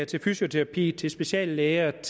til fysioterapi til speciallægebehandling